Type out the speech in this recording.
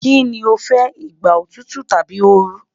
Kini o fẹ, igba otutu tabi ooru